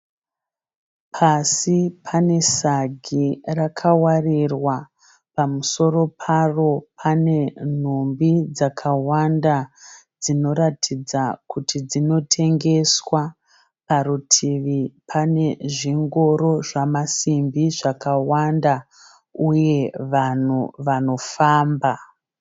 Pasi pane sagi raka warirwa. Pamusoro paro pane nhumbi dzakawanda. Dzinoratidzwa kuti dzinotengeswa parutivi pane zvingoro zvamasimbi zvakawanda uye vanhu vanofamba.